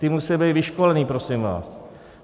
Ti musí být vyškolení, prosím vás.